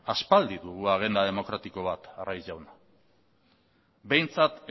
aspaldi dugu agenda demokratiko bat arraiz jauna behintzat